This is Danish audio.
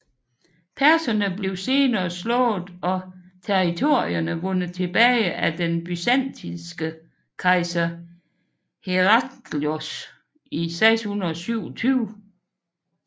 Perserne blev senere slået og territorierne vundet tilbage af den byzantinske kejser Herakleios i 627